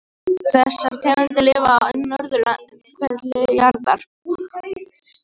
Þessar tegundir lifa á norðurhveli jarðar.